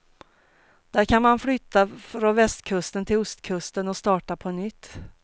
Där kan man flytta från västkusten till ostkusten och starta på nytt.